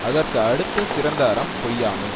அதற்கு அடுத்தச் சிறந்த அறம் பொய்யாமை